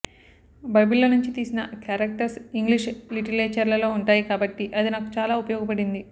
బైబిల్లో నుంచి తీసిన క్యారెక్టర్స్ ఇంగ్లిష్ లిటిరేచర్లో ఉంటాయి కాబట్టి అది నాకు చాలా ఉపయోగపడింది